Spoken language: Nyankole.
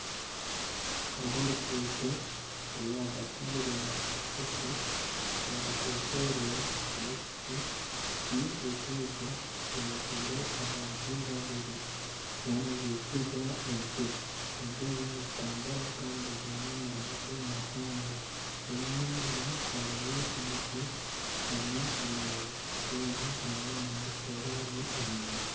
Hariho oruguuto ruri ahagati y'obunyaasti bugufu. Oruguuto orwe rurimu piki. Piki egi eyegwiire abantu babiri bariyo nibigirira ente. Ente ezi nizitambura Kandi ziine amahembe mahango rero enyima hariyo emiti nana amaju rero hariyo nana ekihoroni enyima.